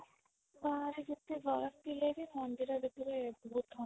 ବାହାରେ ଯେତେ ଗରମ ଥିଲେ ବି ମନ୍ଦିର ଭିତରେ ବହୁତ ଥଣ୍ଡା